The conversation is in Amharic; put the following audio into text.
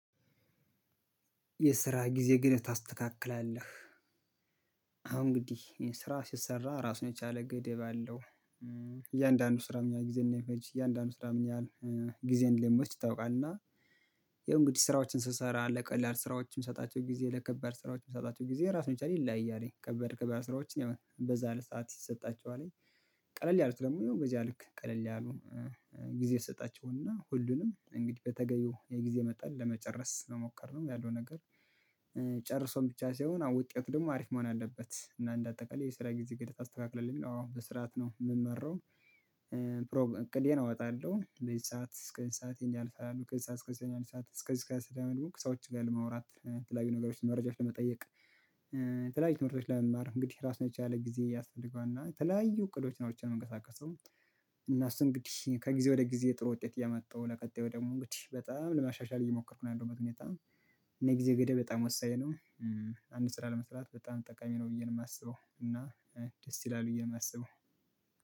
የስራ ጊዜ ግን ታስተካክላለህ አሁን እንግዲህ ስራ ሲሰራ ራሱን የቻለ ገደብ አለው። ስራ ምን ያህል ጊዜን እንደሚፈጅ እያንዳንዱ ስራ ምን ያህል ጊዜን እንደሚወስድ ይታወቃል። እና ያው እንግዲህ ስራዎችን ስሰራ ለቀላል ስራዎችን ምሰጣቸው ጊዜ ለከባድ ስራዎች ምሰጣቸው ጊዜ ራስ የቻለ ይለያያል ከባድ ከባድ ስራዎችን በዛ ያለ ሰዓት ይሰጣቸዋል ቀለል ያሉት ደግሞ ያው በዚያ ልክ ቀለል ያሉ ጊዜ ይሰጣቸውና ሁሉንም እንግዲህ በተገቢው የጊዜ መጠን ለመጨረስ መሞከርነው ያለው ነገር። ጨርሶም ብቻ ሳይሆን አሁን ውጤት ደግሞ አሪፍ መሆን አለበት እና እንደ አጠቃላይ የስራ ጊዜ ገደብ አስተካክለሁ አዎ በስርዓት ነው የምመራው። እቅዴን እወጣለሁ ለዚህ ሰዓት እስከዚህ ሰአቴን ያልፋሉ ከዚህ ሰዓት እስከዚህ ያልፋሉ እስከዚህ እስከሀዚህ አሰደደው ሰዎች ጋር ለመውራት የተለያዬ ነገሮችን መረጃዎች ለመጠየቅ። የተለያዬ ትምህርቶች ለመማር እንግዲህ ራሱን የቻለ ጊዜ ያስፈልገዋል እና የተለያዩ እቅዶች አውጥቼ ነው የምንቀሳቀሰው። እና እሱ እንግዲህ ከጊዜ ወደ ጊዜ ጥሩ ውጤት ያመጣው ለቀጣዩ ደግሞ እንግዲህ በጣም ለማሻሻል እየሞከርኩ ነው ያለሁበት ሁኔታ። እና ጊዜ ገደብ በጣም ወሳኝ ነው። አንድ ስራ ለመስራት በጣም ጠቃሚ ነው ብዬ ነው የማስበው እና ደስ ይላል ብየ የማስበው